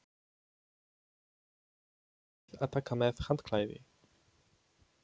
Munið að taka með handklæði!